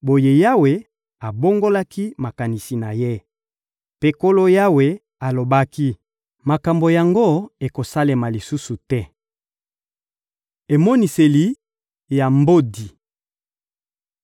Boye Yawe abongolaki makanisi na Ye. Mpe Nkolo Yawe alobaki: — Makambo yango ekosalema lisusu te. Emoniseli ya mbodi